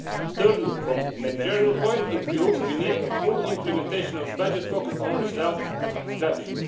Thirdly, from a managerial point of view, we need a full implementation of a budget focused on results strategy.